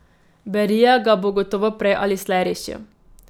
Berija ga bo gotovo prej ali slej rešil.